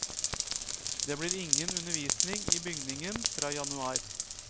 Det blir ingen undervisning i bygningen fra januar.